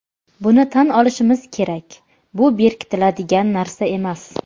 Buni tan olishimiz kerak, bu berkitadigan narsa emas.